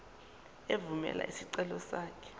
evumela isicelo sakho